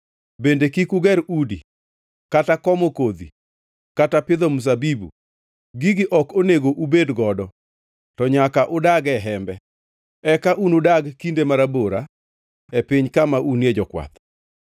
Bende kik uger udi, kata komo kodhi kata pidho mzabibu; gigi ok onego ubed godo, to nyaka udag e hembe. Eka unudag kinde marabora e piny kama unie jokwath.’